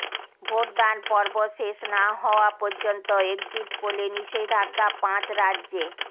ভোটদানপর্ব শেষ না হওয়া পর্যন্ত একজিট পোলে নিষেধাজ্ঞা পাঁচ রাজ্যে